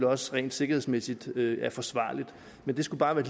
også rent sikkerhedsmæssigt er forsvarligt det skulle bare være